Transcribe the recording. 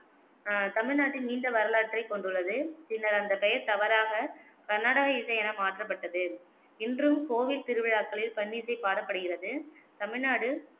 அஹ் தமிழ்நாட்டில் நீண்ட வரலாற்றைக் கொண்டுள்ளது. பின்னர் அந்த பெயர் தவறாக கர்நாடக இசை என மாற்றப்பட்டது. இன்றும் கோவில் திருவிழாக்களில் பண்ணிசை பாடப்படுகிறது. தமிழ்நாடு